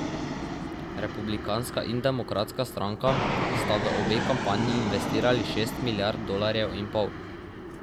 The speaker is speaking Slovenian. Republikanska in demokratska stranka sta v obe kampanji investirali šest milijard dolarjev in pol.